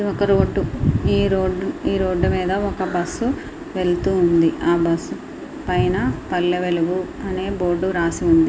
ఒక రోడ్డు ఈ రోడ్డు మీద ఒక బస్సు వెళుతుంది. ఆ బస్సు పైన పల్లె వెలుగు అని ఉంది.